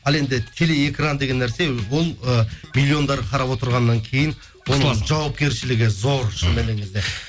ал енді телеэкран деген нәрсе ол ы миллиондар қарап отырғаннан кейін жауапкершілігі зор шын мәніне келген кезде